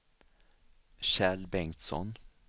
Kjell Bengtsson